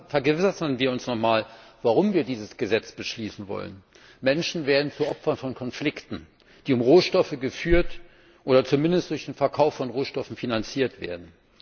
Vergewissern wir uns nochmal, warum wir dieses Gesetz beschließen wollen Menschen werden zu Opfern von Konflikten, die um Rohstoffe geführt oder zumindest durch den Verkauf von Rohstoffen finanziert werden.